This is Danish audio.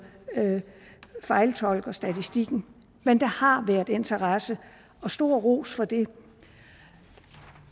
fejltolker statistikken men der har været interesse og stor ros for det